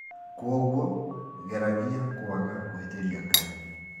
Kwoguo geragia kwaga kũhĩtĩria Ngai